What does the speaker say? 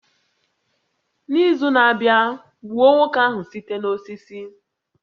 N'izu na-abịa, gbuo nwoke ahụ site n'osisi